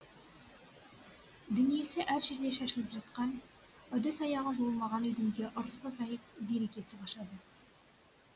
дүниесі әр жерде шашылып жатқан ыдыс аяғы жуылмаған үйдің де ырысы азайып берекесі қашады